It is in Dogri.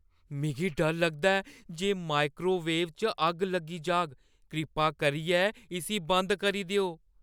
मिगी डर लगदा ऐ जे माइक्रोवेव च अग्ग लगी जाह्‌ग। कृपा करियै इसगी बंद करी देओ।